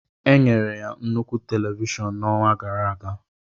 Enyere ya nnukwu televishọn n'ọnwa gara aga.